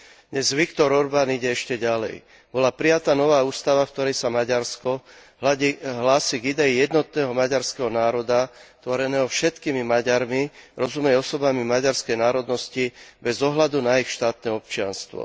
Dnes Viktor Orbán ide ešte ďalej. Bola prijatá nová ústava, v ktorej sa Maďarsko hlási k idei jednotného maďarského národa, tvoreného všetkými Maďarmi, rozumej osobami maďarskej národnosti bez ohľadu na ich štátne občianstvo.